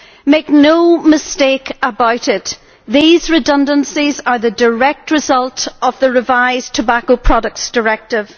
Make no mistakes about it these redundancies are the direct result of the revised Tobacco Products Directive.